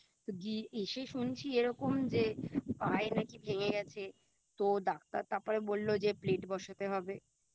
তো গি এসে শুনছি যে এরকম যে পায় নাকি ভেঙে গেছে তো ডাক্তার তাপরে বললো যে Plate বসাতে হবে